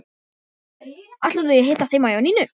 Ætla þau að hittast heima hjá Nínu?